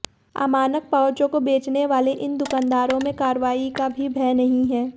अमानक पाउचों को बेचने वाले इन दुकानदारों में कार्रवाई का भी भय नहीं है